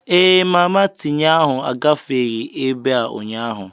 Ee, mama tinye ahụ agafeghị ebe a ụnyaahụ.